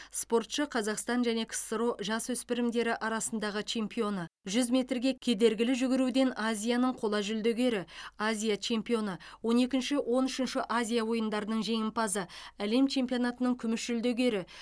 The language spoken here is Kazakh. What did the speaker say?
спортшы қазақстан және ксро жасөспірімдері арасындағы чемпионы жүз метрге кедергілі жүгіруден азияның қола жүлдегері азия чемпионы он екінші он үшінші азия ойындарының жеңімпазы әлем чемпионатының күміс жүлдегері